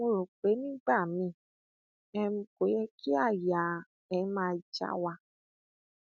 mo rò pé nígbà miín um kò yẹ kí àyà um máa já wa